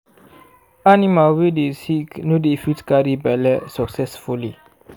animal wey dey sick no dey fit carry belle succesfully